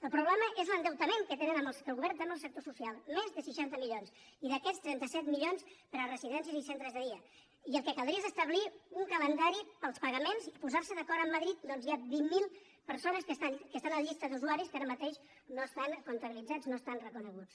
el problema és l’endeutament que el govern té amb el sector social més de seixanta milions i d’aquests trenta set milions per a residències i centres de dia i el que caldria és establir un calendari per als pagaments i posar se d’acord amb madrid perquè hi ha vint mil persones que estan a la llista d’usuaris que ara mateix no estan comptabilitzats no estan reconeguts